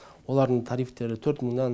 олардың тарифтері төрт мыңнан